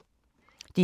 DR K